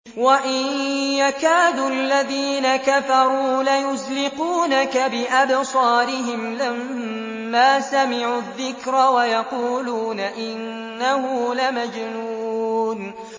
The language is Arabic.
وَإِن يَكَادُ الَّذِينَ كَفَرُوا لَيُزْلِقُونَكَ بِأَبْصَارِهِمْ لَمَّا سَمِعُوا الذِّكْرَ وَيَقُولُونَ إِنَّهُ لَمَجْنُونٌ